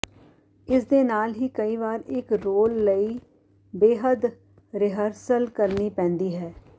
ਇਸ ਦੇ ਨਾਲ ਹੀ ਕਈ ਵਾਰ ਇਕ ਰੋਲ ਲਈ ਬੇਹੱਦ ਰਿਹਰਸਲ ਕਰਨੀ ਪੈਂਦੀ ਹੈ